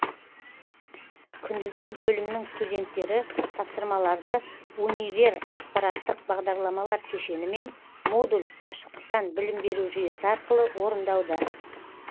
күндізгі бөлімнің студенттері тапсырмаларды универ ақпараттық бағдарламалар кешені мен модуль қашықтан білім беру жүйесі арқылы орындауда